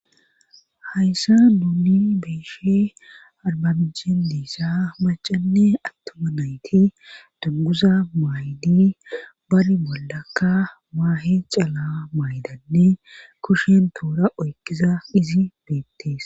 Hayssa duuni beeshe arbabijen diissa macanne attuma nayti danguza maaydi bari boldakka maahe caala maaydanne kushen toura oykkiza izi beettes